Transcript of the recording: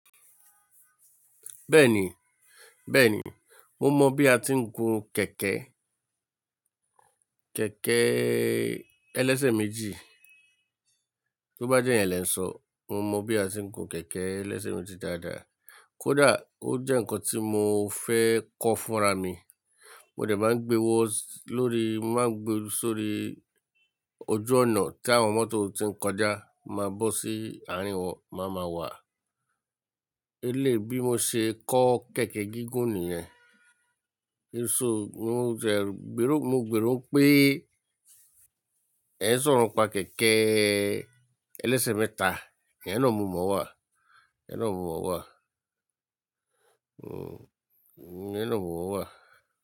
Bẹ́ẹ̀ni, bẹ́ẹ̀ni. Mo mọ bí a ti ń gun kẹ̀kẹ́, kẹ̀kẹ́ ẹlẹ́sẹ̀ méjì. Tó bá jẹ́ iyẹn lẹ ń sọ, mo mọ bí a ti ń gun kẹ̀kẹ́ ẹlẹ́sẹ̀ méjì dáadáa. Kódà ó jẹ́ ǹkan tí mo fẹ́ kọ fúnra mi. Mo dẹ̀ máa ń gbe wó lórí, mo máa ń gbe sórí ojú ọ̀nà tí àwọn mọ́tò ti ń kọjá máa bó sí àárín wọn, màá máa wà. Eléyi bi mo ṣe kọ́ kẹ̀kẹ́ gígùn nìyẹn. Mo jẹ, gbèrò, mo gbèrò pé ẹ̀ń sọ̀rọ̀ npa kẹ̀kẹ́ ẹlẹ́sẹ̀ mẹ́ta. Iyen na mo mọ̀ wà, iyen na mo mọ̀ wà, ẹ̀ẹ́na mo mọ̀ wà.